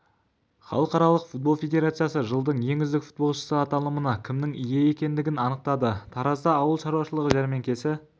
халықаралық футбол федерациясы жылдың ең үздік футболшысы аталымына кімнің ие екендігін анықтады таразда ауыл шаруашылығы жәрмеңкесі